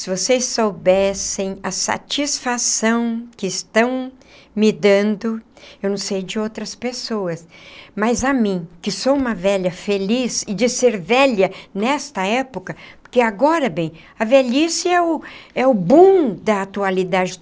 Se vocês soubessem a satisfação que estão me dando, eu não sei de outras pessoas, mas a mim, que sou uma velha feliz, e de ser velha nesta época, porque agora, bem, a velhice é o é o boom da atualidade.